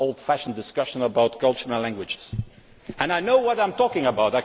not an old fashioned discussion about culture and languages. I know what I am talking about